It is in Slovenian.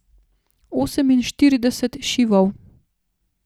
Oseminštirideset šivov.